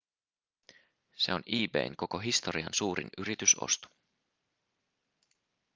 se on ebayn koko historian suurin yritysosto